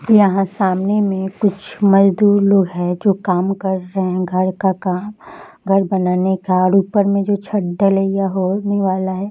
यहाँ सामने में कुछ मजदुर लोग है जो काम कर रहे घर का काम घर बनाने का और ऊपर में जो छत ढलैया होने वाला है ।